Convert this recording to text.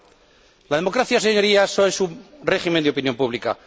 Yo no. La democracia es un régimen de opinión pública.